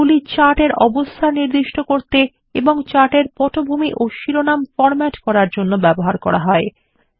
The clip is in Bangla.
এগুলি চার্ট এর অবস্থান নির্দিষ্ট করতে এবং চার্ট এর পটভূমি ও শিরোনাম বিন্যস্ত করার জন্য ব্যবহার করা হয়